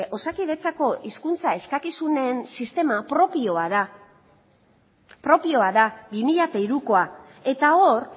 osakidetzako hizkuntza eskakizunen sistema propioa da propioa da bi mila hirukoa eta hor